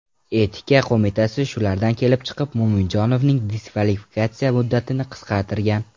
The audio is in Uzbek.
Etika qo‘mitasi shulardan kelib chiqib Mo‘minjonovning diskvalifikatsiya muddatini qisqartirgan.